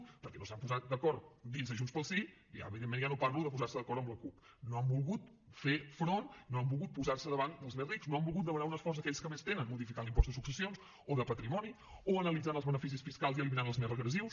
perquè no s’han posat d’acord dins de junts pel sí i ja evidentment ja no parlo de posar se d’acord amb la cup no han volgut fer front no han volgut posar se davant dels més rics no han volgut demanar un esforç a aquells que més tenen modificant l’impost de successions o de patrimoni o analitzant els beneficis fiscals i eliminant els més regressius